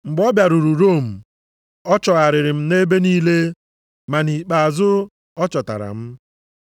Mgbe ọ bịaruru Rom, ọ chọgharịrị m nʼebe niile, ma nʼikpeazụ, ọ chọtara m.